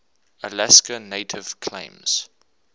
alaska native claims